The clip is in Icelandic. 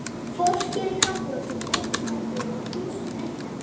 Fólkið í kaffihúsinu breyttist allt í einu í þúsund leyndarmál.